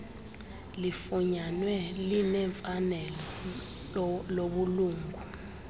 lifunyanwe linemfanelo lobulungu